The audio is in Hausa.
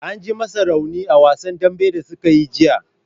An ji masa raunin a wasan dambe da sukayi jiya.